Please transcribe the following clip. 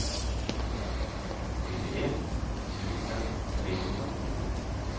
nittioett tusen trehundraåttiosju